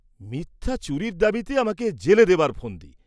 মিথ্যা চুরির দাবিতে আমাকে জেলে দেবার ফন্দি।